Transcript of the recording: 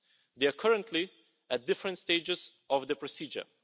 They are currently at different stages of the procedure.